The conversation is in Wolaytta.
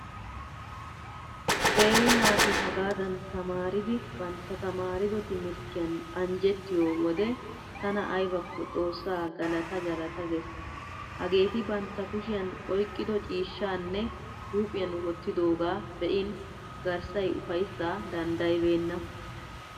Qeeri naati hagaadan tamaaridi bantta tamaarido timirttiyan anjjettiyo wode tana aybakko xoossaa galata galata gees. Hageeti bantta kushiyan oyqqido ciishshaanne huuphiyan wottidooga be'in garssay ufayssaa danddayibeemna.